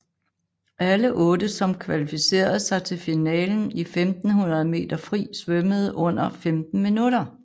Alle otte som kvalificerede sig til finalen i 1500 meter fri svømmede under 15 minutter